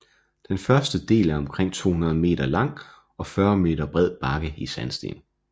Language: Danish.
Den første del er omkring 200 meter lang og 40 meter bred bakke i sandsten